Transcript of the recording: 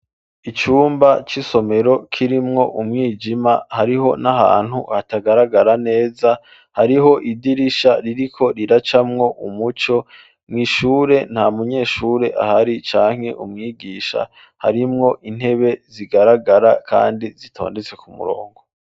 Icumba c'isomero kirimwo umwijima hariho n'ahantu hatagaragara neza hariho idirisha ririko riracamwo umuco mw'ishure nta munyeshure ahari canke umwigisha harimwo intebe zigaragara kandi zitondetse ku murongo.